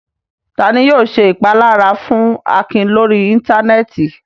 Ta ni yóò ṣe ìpalára fún Akin lórí Íńtánẹ́ẹ̀tì?